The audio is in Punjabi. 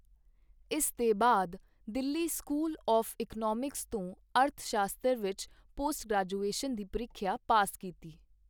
ਇਸ ਦੇ ਬਾਅਦ ਦਿੱਲੀ ਸਕੂਲ ਆੱਫ ਇਕਨੌਮਿਕਸ ਤੋਂ ਅਰਥਸ਼ਾਸਤਰ ਵਿੱਚ ਪੋਸਟ ਗ੍ਰੈਜੂਏਸ਼ਨ ਦੀ ਪ੍ਰੀਖਿਆ ਪਾਸ ਕੀਤੀ।